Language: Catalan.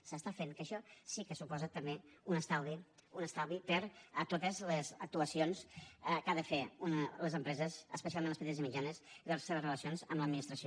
s’està fent que això sí que suposa també un estalvi en totes les actuacions que han de fer les empreses especialment les petites i mitjanes i les seves relacions amb l’administració